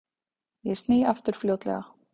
Ég sný aftur fljótlega.